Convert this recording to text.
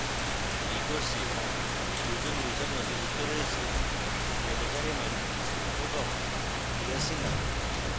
এই course 2 জন users নথিভুক্ত রয়েছেrebecca raymond এবং priya sinha